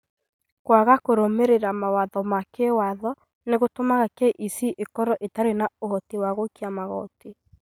Kwaga kũrũmĩrĩra mawatho ma kĩwatho nĩ gũtũmaga KEC ĩkorũo ĩtarĩ na ũhoti wa gũikia magooti.